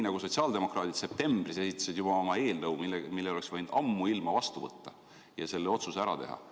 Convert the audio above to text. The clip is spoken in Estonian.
Sotsiaaldemokraadid esitasid juba septembris oma eelnõu, mille oleks võinud ammuilma seadusena vastu võtta ja selle otsuse ära teha.